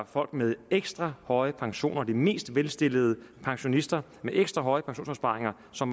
folk med ekstra høje pensioner de mest velstillede pensionister med ekstra høje pensionsopsparinger som